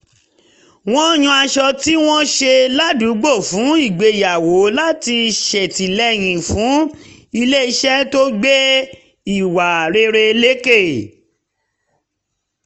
ó yan aṣọ tí wọ́n ṣe ládùúgbò fún ìgbéyàwó láti ṣètìlẹyìn fún iléeṣẹ́ tó gbé ìwà rere lékè